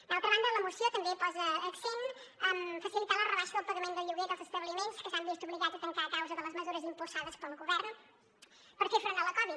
d’altra banda la moció també posa accent en facilitar la rebaixa del pagament del lloguer dels establiments que s’han vist obligats a tancar a causa de les mesures impulsades pel govern per fer front a la covid